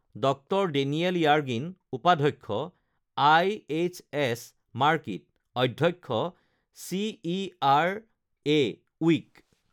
ডঃ Daniel Yergin উপাধ্যক্ষ, IHS Markit, অধ্যক্ষ, CERA week